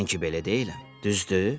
Mən ki belə deyiləm, düzdür?